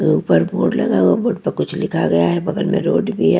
ऊपर बोर्ड लगा बोर्ड पर लिखा गया है बगल में रोड भी है।